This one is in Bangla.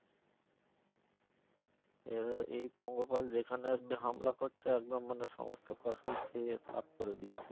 এর এই পঙ্গপাল যেখানে হামলা করছে একদম মানে সমস্ত ফসল খেয়ে সাফ করে দিচ্ছে।